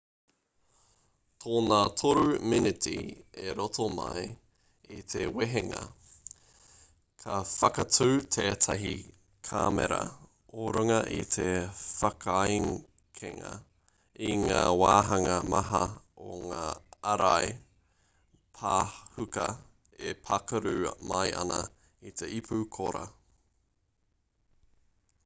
tōna 3 miniti o roto mai i te wehenga ka whakaatu tētahi kāmera o runga i te whakaekenga i ngā wāhanga maha o ngā ārai pāhuka e pākaru mai ana i te ipu kora